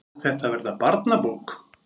Á þetta að verða barnabók?